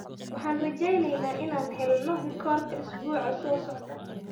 Waxaan rajeyneynaa inaan helno rikoorka isbuuca soo socda.